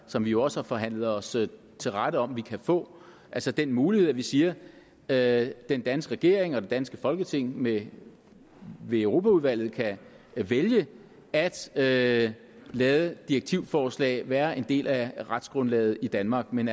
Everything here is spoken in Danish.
som vi jo også har forhandlet os til rette om at vi kan få altså den mulighed at vi siger at den danske regering og det danske folketing ved europaudvalget kan vælge at lade lade direktivforslag være en del af retsgrundlaget i danmark men